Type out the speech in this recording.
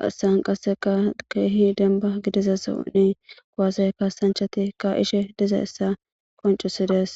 haysan qassika kehi denban gididaynan kuwasse kassanchati kayishe dizayssa qoncisses .